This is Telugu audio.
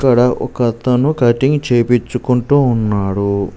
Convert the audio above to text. ఇక్కడ ఒక అతను కటింగ్ చేపించుకుంటూ ఉన్నాడు.